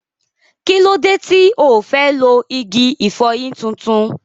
Kí ló dé tí ò fẹ́ lo igi ìfọyín tuntun?